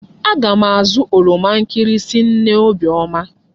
Aga m azụ oroma nkịrịsị nne Obiọma.